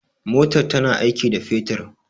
motar tana aiki da fetur